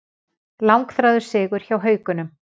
Langþráður sigur hjá Haukunum